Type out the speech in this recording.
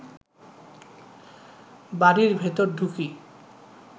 বাড়ির ভেতর ঢুকি